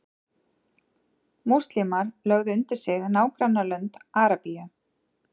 múslímar lögðu undir sig nágrannalönd arabíu